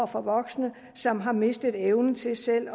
for voksne som har mistet evnen til selv